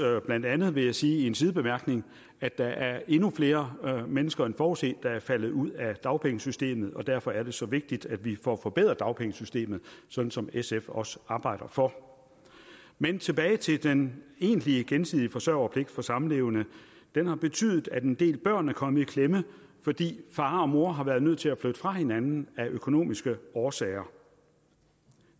blandt andet vil jeg sige i en sidebemærkning at der er endnu flere mennesker end forudset der er faldet ud af dagpengesystemet og derfor er det så vigtigt at vi får forbedret dagpengesystemet sådan som sf også arbejder for men tilbage til den egentlige gensidige forsørgerpligt for samlevende den har betydet at en del børn er kommet i klemme fordi far og mor har været nødt til at flytte fra hinanden af økonomiske årsager